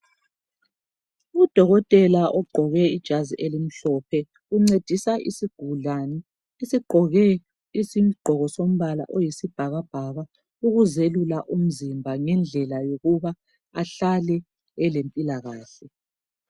Udokotela ogqoke ijazi elimhlophe uncedisa isigulani esigqoke isigqoko sombala oyisibhakabhaka ukuzelula umzimba ngendlela yokuba ahlale elempilakahle.